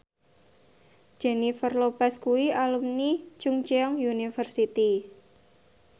Jennifer Lopez kuwi alumni Chungceong University